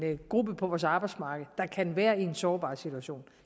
af en gruppe på vores arbejdsmarked der kan være i en sårbar situation